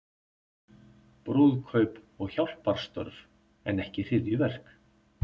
Brúðkaup og hjálparstörf en ekki hryðjuverk